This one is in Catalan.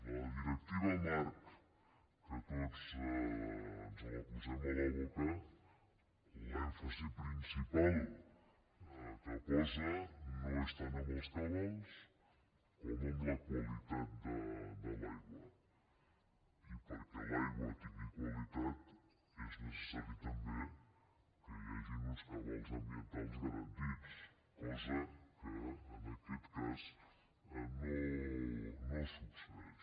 la directiva marc que tots ens la posem a la boca l’èmfasi principal que posa no és tant en els cabals com en la qualitat de l’aigua i perquè l’aigua tingui qualitat és necessari també que hi hagin uns cabals ambientals garantits cosa que en aquest cas no succeeix